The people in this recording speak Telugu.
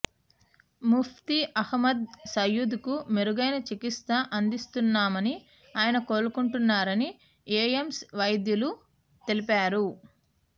ముఫ్తీ అహమ్మద్ సయిూద్ కు మెరుగైన చికిత్స అందిస్తున్నామని ఆయన కొలుకుంటున్నారని ఎయిమ్స్ వైద్యులు తెలిపారు